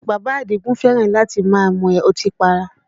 Bàbá Àdìgún fẹ́ràn láti máa mú ọtí para